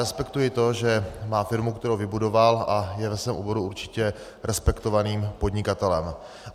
Respektuji to, že má firmu, kterou vybudoval, a je ve svém oboru určitě respektovaným podnikatelem.